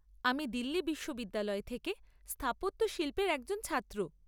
আমি দিল্লি বিশ্ববিদ্যালয় থেকে স্থাপত্যশিল্পের একজন ছাত্র।